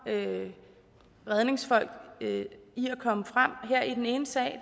redningsfolk i at komme frem i den ene sag